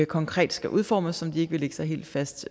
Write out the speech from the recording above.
konkrete udformning som de ikke vil lægge sig helt fast